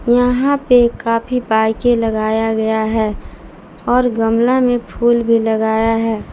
यहां पे काफी बाईके लगाया गया है और गमला में फूल भी लगाया है।